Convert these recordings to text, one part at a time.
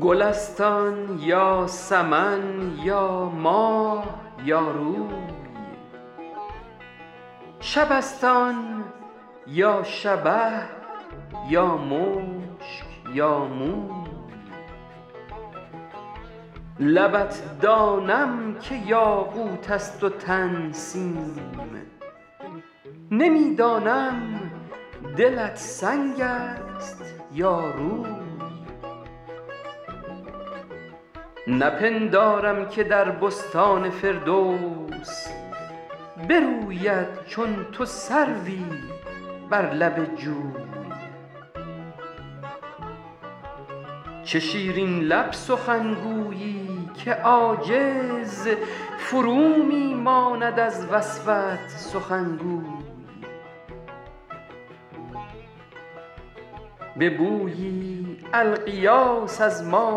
گل است آن یا سمن یا ماه یا روی شب است آن یا شبه یا مشک یا موی لبت دانم که یاقوت است و تن سیم نمی دانم دلت سنگ است یا روی نپندارم که در بستان فردوس بروید چون تو سروی بر لب جوی چه شیرین لب سخنگویی که عاجز فرو می ماند از وصفت سخنگوی به بویی الغیاث از ما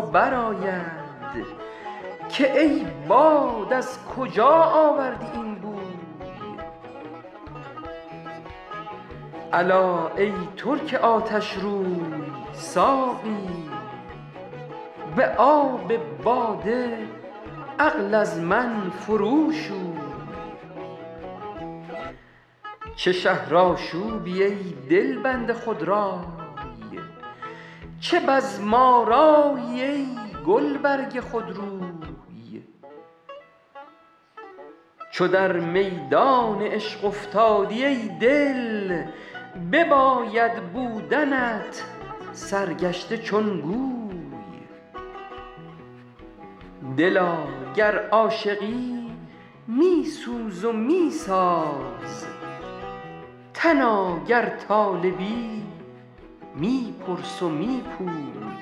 برآید که ای باد از کجا آوردی این بوی الا ای ترک آتشروی ساقی به آب باده عقل از من فرو شوی چه شهرآشوبی ای دلبند خودرای چه بزم آرایی ای گلبرگ خودروی چو در میدان عشق افتادی ای دل بباید بودنت سرگشته چون گوی دلا گر عاشقی می سوز و می ساز تنا گر طالبی می پرس و می پوی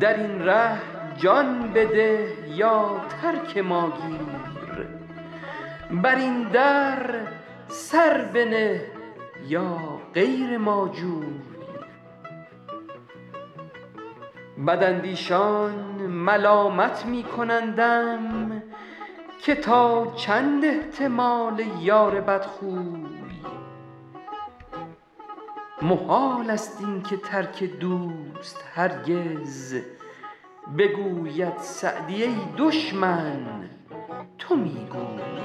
در این ره جان بده یا ترک ما گیر بر این در سر بنه یا غیر ما جوی بداندیشان ملامت می کنندم که تا چند احتمال یار بدخوی محال است این که ترک دوست هرگز بگوید سعدی ای دشمن تو می گوی